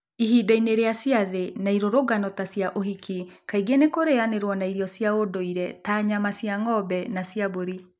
Ihinda-inĩ rĩa ciathĩ na irũrũngano ta cia ũhiki, kaingĩ nĩ kũrĩanĩrũo na irio cia ũndũire ta nyama cia ng'ombe na cia mbũri.